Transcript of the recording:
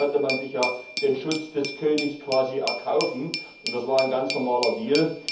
Seinerzeit konnte man sich ja den Schutz des Königs quasi erkaufen, und das war ein ganz normaler Deal.